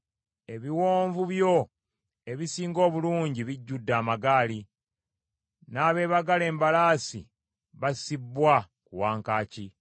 Ebiwonvu byo ebisinga obulungi bijjudde amagaali, n’abeebagala embalaasi bassibbwa ku wankaaki.